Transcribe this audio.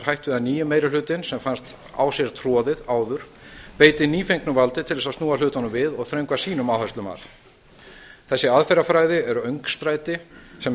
við að nýi meiri hlutinn sem fannst á sér troðið áður beiti nýfengnu valdi til að snúa hlutunum við og þröngva sínum áherslum að þessi aðferðafræði er öngstræti sem